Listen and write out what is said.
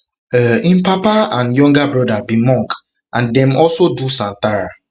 um im papa and younger broda be monk and dem also do santhara um